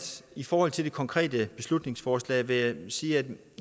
i forhold til det konkrete beslutningsforslag vil jeg sige at